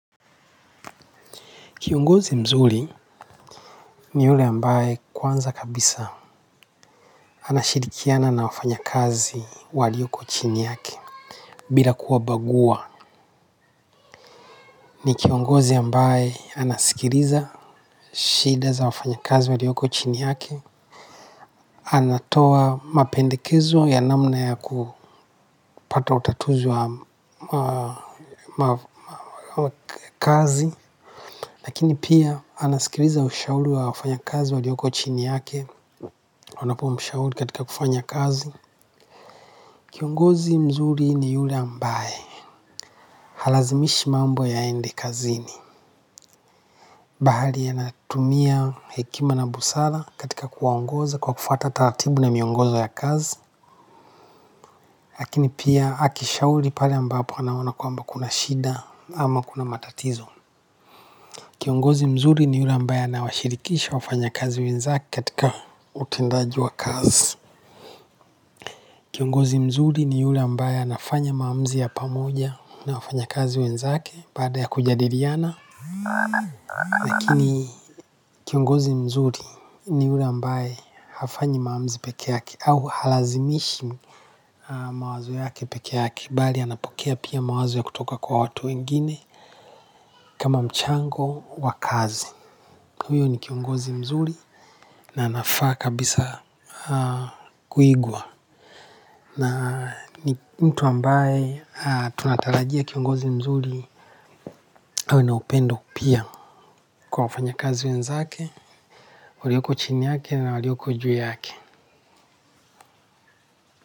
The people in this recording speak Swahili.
Kiongozi mzuli ni ule ambaye kwanza kabisa anashirikiana na wafanya kazi walioko chini yake bila kuwa bagua. Ni kiongozi ambaye anasikiriza shida za wafanya kazi walioko chini yake. Anatoa mapendekezo ya namna ya kupata utatuzi wa kazi. Lakini pia anasikiriza ushauli wa wafanya kazi walioko chini yake. Wanapo mshauli katika kufanya kazi kiongozi mzuri ni yule ambaye halazimishi mambo yaende kazini bahali anatumia hekima na busara katika kuwaongoza kwa kufuata taratibu na miongozo ya kazi. Lakini pia akishauli pale ambapo anaona kwamba kuna shida ama kuna matatizo. Kiongozi mzuri ni yule ambaye anawashirikisha wafanya kazi wenzake katika utindaji wa kazi. Kiongozi mzuri ni yule ambaye anafanya maamuzi ya pamoja na wafanya kazi wenzake baada ya kujadiriana. Lakini kiongozi mzuri ni yule ambaye hafanyi maamzi pekeake au halazimishi mawazo yake pekeake. Bali anapokea pia mawazo ya kutoka kwa watu wengine kama mchango wa kazi. Huyo ni kiongozi mzuri na anafaa kabisa kuigwa. Na ni mtu ambaye tunatalajia kiongozi mzuri awe na upendo pia kwa wafanya kazi wenzake walioko chini yake na walioko juu yake.